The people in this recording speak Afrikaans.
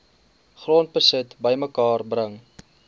grondbesit bymekaar bring